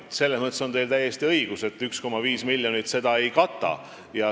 Selles mõttes on teil täiesti õigus, et 1,5 miljonit eurot seda ei kata.